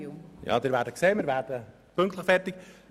Sie werden sehen, wir werden pünktlich zum Ende kommen.